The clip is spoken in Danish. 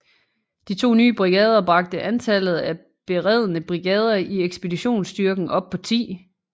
De to nye brigader bragte antallet af beredne brigader i ekspeditionsstyrken op på 10